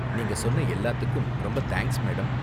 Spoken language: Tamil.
நீங்க சொன்ன எல்லாத்துக்கும், ரொம்ப தேங்க்ஸ், மேடம்.